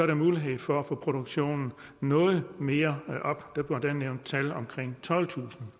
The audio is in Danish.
der mulighed for at få produktionen noget mere op der bliver endda nævnt tal omkring tolvtusind